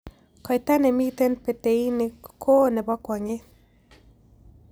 Koita ne miten peteini ko oo ne po kwong'et